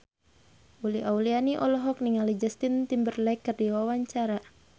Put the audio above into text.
Uli Auliani olohok ningali Justin Timberlake keur diwawancara